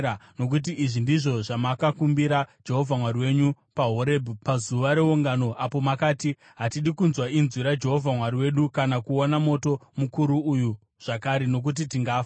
Nokuti izvi ndizvo zvamakakumbira Jehovha Mwari wenyu paHorebhi pazuva reungano apo makati, “Hatidi kunzwa inzwi raJehovha Mwari wedu kana kuona moto mukuru uyu zvakare, nokuti tingafa.”